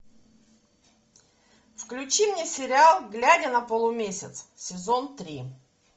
включи мне сериал глядя на полумесяц сезон три